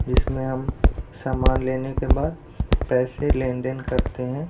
जिसमें हम सामान लेने के बाद पैसे लेन-देन करते हैं।